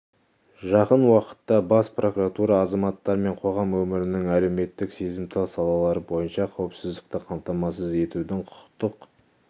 жақын уақытта бас прокуратура азаматтар мен қоғам өмірінің әлеуметтік сезімтал салалары бойынша қауіпсіздікті қамтамасыз етудің құқықтық